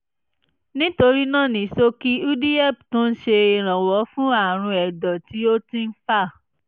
nítorí náà ní ṣókí udihep tún ń ṣèrànwọ́ fún àrùn ẹ̀dọ̀ tí ọtí ń fà